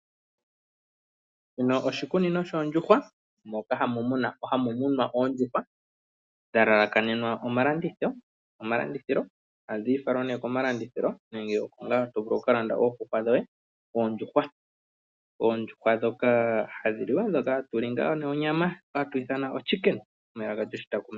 Shino oshikunino shoondjuhwa moka hamu munwa oondjuhwa, dha lalalakanenwa omalandithilo. Ohadhi falwa ngaa ne komalandithilo nenge hoka to vulu oku ka landa oondjuhwa dhoye. Oondjuhwa ndhoka hatu li onyama.